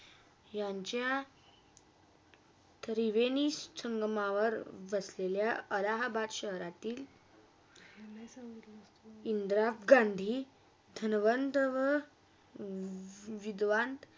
त्या त्रिवेणी संगमवार बसलेल्या अलाहबाद शहरातील इंदिरा गांधी धन्वंत व विधवान.